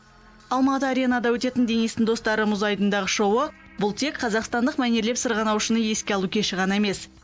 алматы аренада өтетін денистің достары мұз айдынындағы шоуы бұл тек қазақстандық мәнерлеп сырғанаушыны еске алу кеші ғана емес